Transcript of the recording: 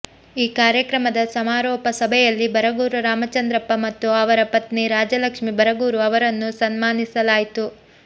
ಈ ಕಾರ್ಯಕ್ರಮದ ಸಮಾರೋಪ ಸಭೆಯಲ್ಲಿ ಬರಗೂರು ರಾಮಚಂದ್ರಪ್ಪ ಮತ್ತು ಅವರ ಪತ್ನಿ ರಾಜಲಕ್ಷ್ಮಿ ಬರಗೂರು ಅವರನ್ನು ಸನ್ಮಾನಿಸಲಾಯಿತು